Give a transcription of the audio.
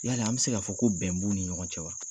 Yala an bɛ se k'a fɔ ko bɛn b'u ni ɲɔgɔn cɛ wa?